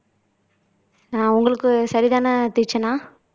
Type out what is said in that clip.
ஆஹ் உங்களுக்கு சரிதானே தீக்ஷனா